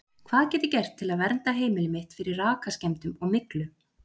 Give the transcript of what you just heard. Hvað get ég gert til að vernda heimilið mitt fyrir rakaskemmdum og myglu?